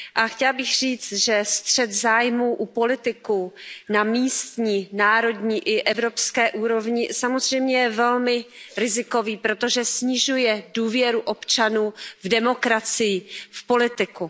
Chtěla bych říci, že střet zájmů u politiků na místní, národní i evropské úrovni je samozřejmě velmi rizikový, protože snižuje důvěru občanů v demokracii, v politiku.